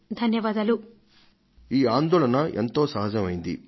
శర్మిలాజీ మీ ఆందోళన ఎంతో సహజమైనది